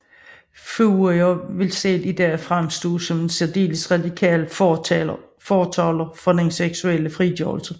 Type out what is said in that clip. Fourier ville selv i dag fremstå som en særdeles radikal fortaler for den seksuelle frigørelse